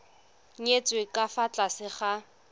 nyetswe ka fa tlase ga